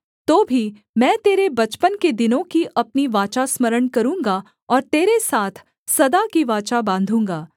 तो भी मैं तेरे बचपन के दिनों की अपनी वाचा स्मरण करूँगा और तेरे साथ सदा की वाचा बाँधूँगा